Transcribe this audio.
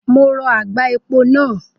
Mo rọ àgbá epo náà.